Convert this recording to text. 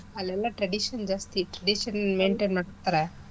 ಅಲ್ಲೆಲ್ಲ tradition ಜಾಸ್ತಿ tradition maintain ಮಾಡ್ತಾರೆ.